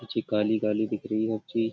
कुछी काली काली दिख रही --